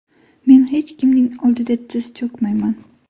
Men hech kimning oldida tiz cho‘kmayman.